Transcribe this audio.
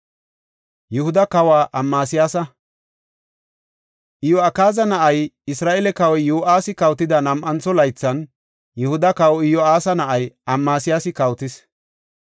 Iyo7akaaza na7ay, Isra7eele kawoy Yo7aasi kawotida nam7antho laythan, Yihuda kawa Iyo7aasa na7ay Amasiyaasi kawotis.